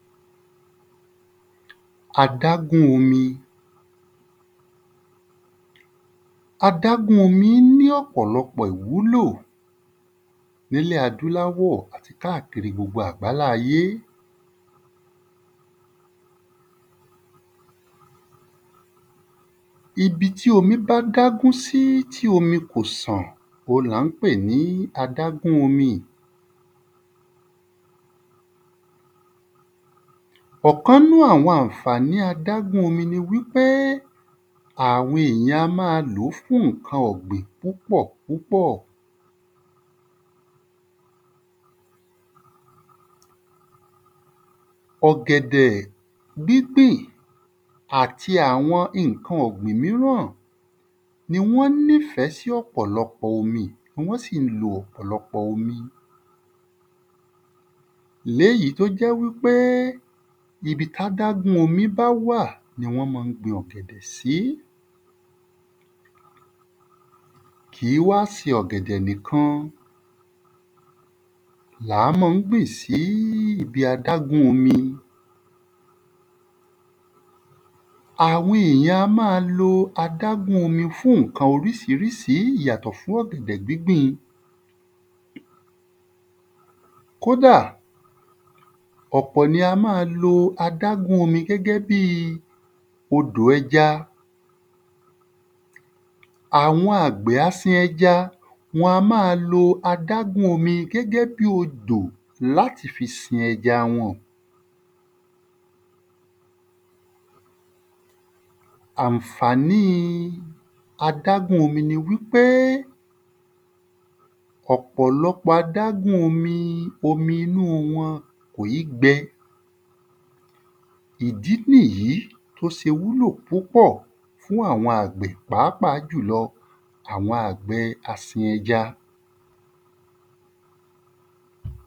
Adágún omi Adágún omi ní ọ̀pọ̀lọpọ̀ ìwúlò n’ílẹ̀ adúláwọ̀ àti káàkiri gbogbo àgbálá ayé Ibi tí omi bá dágún sí tí omi kò san ohun là ń pè ni adágún omi ì. Ọ̀kan 'nú àwọn àǹfàní adágún omi ni wí pé àwọn èyàn a má a lò fún ǹkan ọ̀gbìn púpọ̀ púpọ̀. Ọ̀gẹ̀dẹ̀ gbígbìn àti àwọn ìnkan míràn ni wọ́n ní fẹ́ sí ọ̀pọ̀lọpọ̀ omi tí wọ́n sì ń lo ọ̀pọ̀lọpọ̀ omi. L'éyí t’ó jẹ́ wí pé ibi t’ádágún omi bá wà ni wọ́n má ń gbin ọ̀gẹ̀dẹ̀ sí. Kìí wá se ọ̀gẹ̀dẹ̀ nìkan l'á mọ́ ń gbìn sí ibi adágún omi Àwọn èyàn a má a lo adágún omi fún ǹkan orísirísi yàtọ̀ fún ọ̀gẹ̀dẹ̀ gbígbìn Kóda, ọ̀pọ̀ ni a má a lo adágún omi gẹ́gẹ́ bi odò ẹja. Àwọn àgbẹ̀ asin ẹja wọn a má a lo adágún omi gẹ́gẹ́ bí odò l'áti fi sin ẹja wọ́n ọ̀. Àǹfàní adágún omi ni wí pé ọ̀pọ̀lọpọ̀ adágún omi omi inú wọn kò í gbẹ. Ìdí n'ìyí t’ó se wúlò púpọ̀ fún àwọn àgbè pàápàá jùlọ àwọn àgbẹ̀ ẹ asin ẹja.